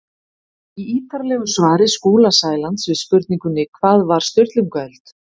Í ítarlegu svari Skúla Sælands við spurningunni Hvað var Sturlungaöld?